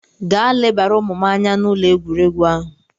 Gaa lebara ụmụ m anya n'ụlọ egwuregwu ahụ!